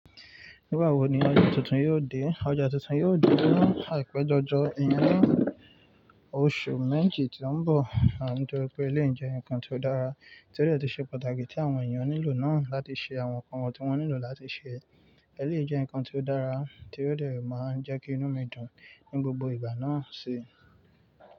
Nígbà wo ni ọjà tuntun yóò dé? Ọjà tuntun yóò dé ní àìpẹ́ jọjọ, ìyẹn, ní oṣù méjì tí ó ń bọ̀, nítorí pé eléyìí jẹ́ nǹkan tí ó dára tí ó dẹ̀ tún ṣe pàtàkì tí àwọn èèyàn nílò náà láti ṣe àwọn nǹkan wọn tí wọ́n nílò láti ṣe. Eléyìí jẹ́ nǹkan tí ó dára tí ó dẹ̀ máa ń jẹ́ kí inú mi dùn ní gbogbo ìgbà náà síi.